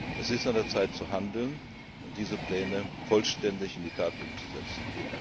Es ist an der Zeit, zu handeln und diese Pläne vollständig in die Tat umzusetzen.